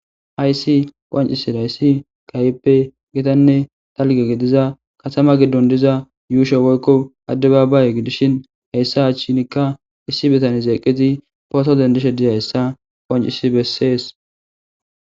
Hayssi qoancisi dayssi kayppe gitanne talge gidiza katama giddon diza yuushe woykko adde baabaaye gidishin hayssa achchinikka issi bitan zeeqizi poto dendishe diy hayssa qoancisi bessees.